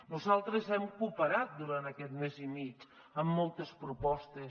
nosaltres hem cooperat durant aquest mes i mig amb moltes propostes